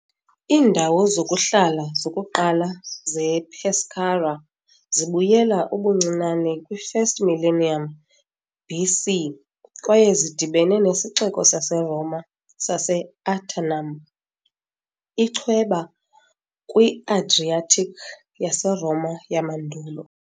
Iindawo zokuhlala zokuqala zePescara zibuyela ubuncinane kwi-1st millennium BC kwaye zidibene nesixeko saseRoma sase "-Aternum", ichweba kwi-Adriatic yaseRoma yamandulo.